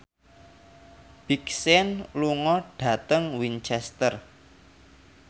Big Sean lunga dhateng Winchester